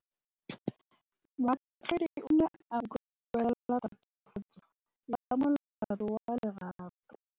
Moatlhodi o ne a utlwelela tatofatsô ya molato wa Lerato.